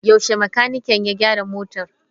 Yaushe makanikin ya gyara motar?